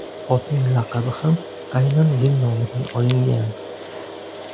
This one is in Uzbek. Otning laqabi ham aynan yil nomidan olingan.